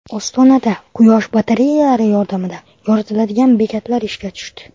Ostonada quyosh batareyalari yordamida yoritiladigan bekatlar ishga tushdi.